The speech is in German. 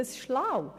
Ist das schlau?